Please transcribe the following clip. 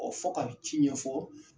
Ɔ fɔ ka ci ɲɛfɔ